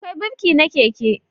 Akwai birki na keke